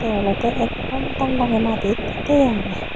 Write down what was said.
te olode ekdom dang dangi madit thiye agey.